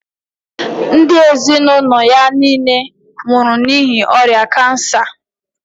Ndị ezinụlọ ya niile nwụrụ n'ihi ọrịa cancer.